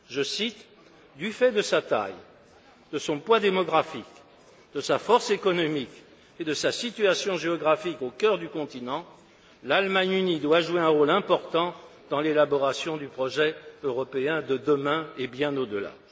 Je cite Du fait de sa taille, de son poids démographique, de sa force économique et de sa situation géographique au cœur du continent, l'Allemagne unie doit jouer un rôle important dans l'élaboration du projet européen de demain et bien au delà.